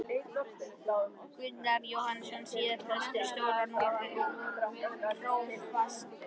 Gunnar Jóhannesson, síðar prestur á Stóra-Núpi og prófastur.